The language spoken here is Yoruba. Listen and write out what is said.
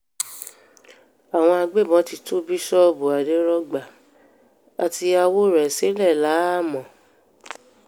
àwọn agbébọ́n ti tú bíṣọ́ọ̀bù àdèrògba àtìyàwó rẹ̀ sílẹ̀ láàámọ̀